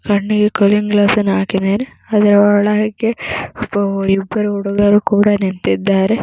ಕಣ್ಣಿಗೆ cooling glass ಹಾಕಿದಾನೆ ಅದ್ರ ಒಳಗೆ ಒಬ್ಬ ಇಬ್ಬರು ಹುಡುಗರು ಕೂಡ ನಿಂತಿದ್ದಾರೆ .